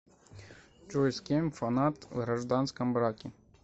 джой с кем фанат в гражданском браке